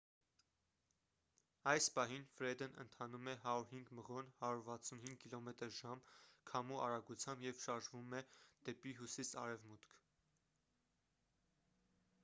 այս պահին ֆրեդն ընթանում է 105 մղոն 165 կմ/ժ քամու արագությամբ և շարժվում է դեպի հյուսիս-արևմուտք։